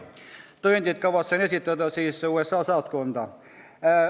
Tõendid kavatsen esitada USA saatkonda.